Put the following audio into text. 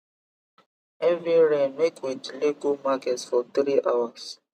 heavy rain make we delay go market for three hours